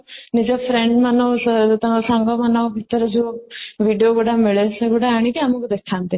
ନିଜ friend ମାନଙ୍କ ସହ ତାଙ୍କ ସାଙ୍ଗମାନଙ୍କ ଭିତରେ ଯୋଉ video ଗୁଡା ମିଳେ ସେଗୁଡା ଆଣିକି ଆମକୁ ଦେଖନ୍ତି